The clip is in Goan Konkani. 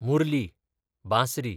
मुरली, बांसरी